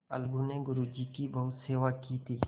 अलगू ने गुरु जी की बहुत सेवा की थी